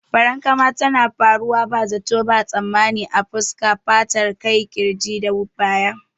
Farankama tana faruwa ba zato ba tsammani a fuska, fatar kai, kirji da baya.